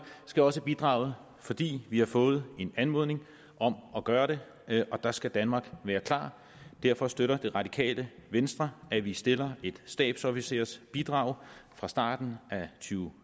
skal også bidrage fordi vi har fået en anmodning om at gøre det og der skal danmark være klar derfor støtter det radikale venstre at vi stiller et stabsofficersbidrag fra starten af to